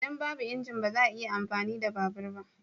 Idan babu injin, ba za a iya amfani da babur ba.